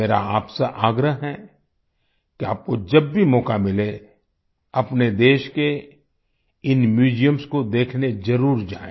मेरा आपसे आग्रह है कि आपको जब भी मौका मिले अपने देश के इन म्यूजियम्स को देखने जरुर जाएँ